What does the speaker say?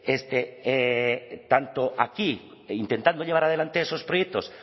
tanto aquí e intentando llevar adelante esos proyectos